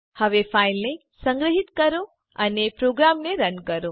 હવે ફાઈલને સંગ્રહીત કરો અને પ્રોગ્રામને રન કરો